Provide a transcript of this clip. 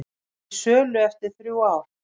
Til sölu eftir þrjú ár